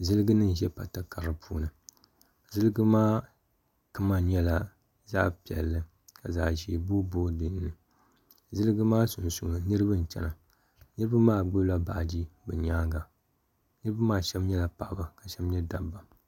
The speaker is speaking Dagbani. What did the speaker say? ziliginima n-ʒe pata kara puuni ziligi maa kama nyɛla zaɣ' piɛlli ka zaɣ' ʒee boi boi liɣi li ziligi maa sunsuuni niriba n-chana niriba maa gbubi la baaji bɛ nyaaga niriba maa shɛba nyɛla paɣaba ka shɛba nyɛ dabba.